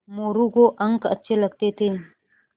मोरू को अंक अच्छे लगते थे